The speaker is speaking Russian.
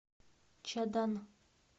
чадан